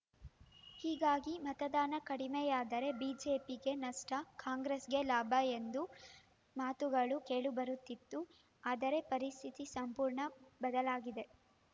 ಹೀಗಾಗಿ ಮತದಾನ ಕಡಿಮೆಯಾದರೆ ಬಿಜೆಪಿಗೆ ನಷ್ಟ ಕಾಂಗ್ರೆಸ್‌ಗೆ ಲಾಭ ಎಂದು ಮಾತುಗಳು ಕೇಳಿಬರುತ್ತಿತ್ತು ಆದರೆ ಪರಿಸ್ಥಿತಿ ಸಂಪೂರ್ಣ ಬದಲಾಗಿದೆ